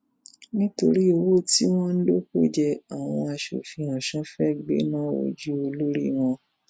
nítorí owó tí wọn lò kò jẹ àwọn aṣòfin ọsùn fẹẹ gbéná wojú olórí wọn